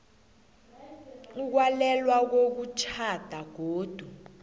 ukwalelwa kokutjhada godu